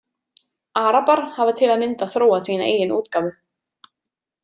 Arabar hafa til að mynda þróað sína eigin útgáfu.